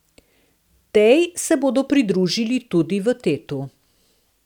Tej se bodo pridružili tudi v Tetu.